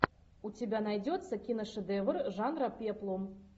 у тебя найдется киношедевр жанра пеплум